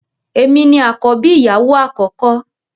Èmi ní akọbi ìyàwó akọkọ.